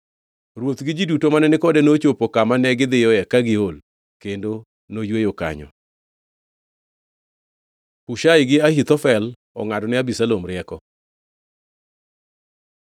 Ruoth gi ji duto mane ni kode nochopo kama negidhiyoe ka giol. Kendo noyweyo kanyo. Hushai gi Ahithofel ongʼadone Abisalom rieko